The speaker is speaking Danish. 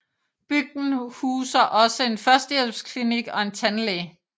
Bygden huser også en førstehjælpsklinik og en tandlæge